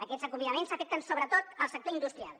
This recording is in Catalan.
aquests acomiadaments afecten sobretot el sector industrial